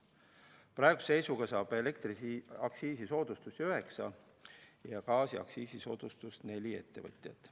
Praeguse seisuga saab elektriaktsiisisoodustust üheksa ja gaasiaktsiisisoodustust neli ettevõtjat.